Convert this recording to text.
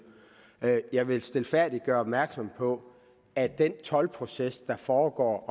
jeg vil stilfærdigt gøre opmærksom på at den toldproces der foregår i